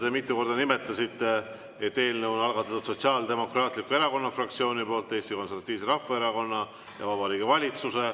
Te mitu korda nimetasite, et eelnõu on algatanud Sotsiaaldemokraatliku Erakonna fraktsioon, Eesti Konservatiivne Rahvaerakond ja Vabariigi Valitsus.